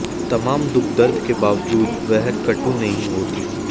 तमाम दुख दर्द के बावजूद वह कटु नहीं होती